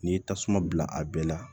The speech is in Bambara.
N'i ye tasuma bila a bɛɛ la